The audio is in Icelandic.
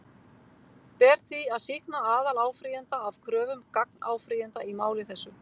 Ber því að sýkna aðaláfrýjanda af kröfum gagnáfrýjanda í máli þessu.